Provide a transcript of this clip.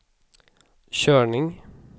körning